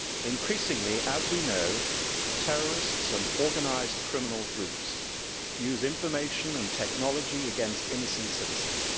Increasingly, as we know, terrorists and organised criminal groups use information and technology against innocent citizens.